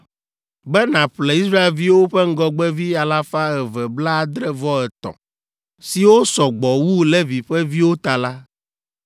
Be nàƒle Israelviwo ƒe ŋgɔgbevi alafa eve blaadre-vɔ-etɔ̃ (273), siwo sɔ gbɔ wu Levi ƒe viwo ta la,